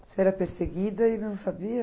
Você era perseguida e não sabia?